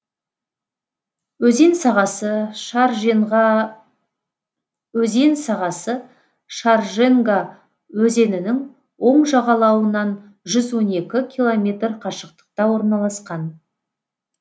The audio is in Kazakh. өзен сағасы шарженга өзенінің оң жағалауынан жүз он екі километр қашықтықта орналасқан